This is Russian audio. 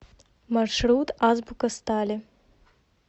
маршрут азбука стали